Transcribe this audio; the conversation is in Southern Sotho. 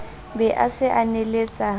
be a se a neheletsa